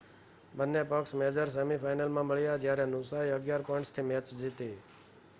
બન્ને પક્ષ major semi final માં મળ્યા જ્યાં નુસાએ 11 પોઈન્ટ્સ થી મૅચ જીતી